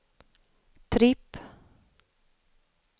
tripp